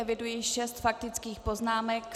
Eviduji šest faktických poznámek.